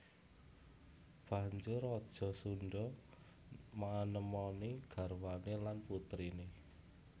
Banjur raja Sundha manemoni garwané lan putriné